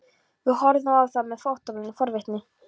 Við horfðum á þá með óttablandinni forvitni.